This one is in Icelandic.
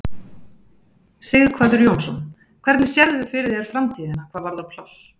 Sighvatur Jónsson: Hvernig sérðu fyrir þér framtíðina hvað varðar pláss?